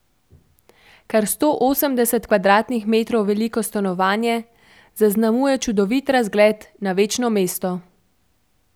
Kar sto osemdeset kvadratnih metrov veliko stanovanje zaznamuje čudovit razgled na večno mesto.